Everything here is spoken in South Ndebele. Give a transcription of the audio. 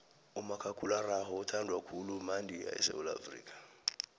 umakhakhulararhwe uthandwa khulu madika esewula afrika